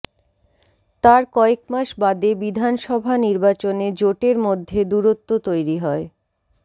তার কয়েকমাস বাদে বিধানসভা নির্বাচনে জোটের মধ্যে দূরত্ব তৈরি হয়